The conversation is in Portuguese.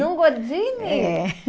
Num Gordini? É.